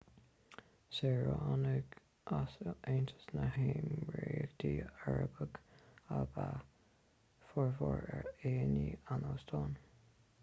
saoránaigh as aontas na néimiríochtaí arabacha ab ea formhór aíonna an óstáin